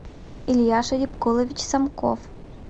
илья шарипколович самков